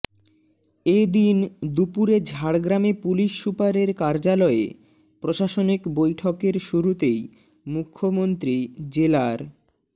এ দিন দুপুরে ঝাড়গ্রামে পুলিশ সুপারের কার্যালয়ে প্রশাসনিক বৈঠকের শুরুতেই মুখ্যমন্ত্রী জেলার